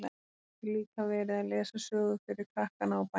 Hún gæti líka verið að lesa sögu fyrir krakkana á bænum.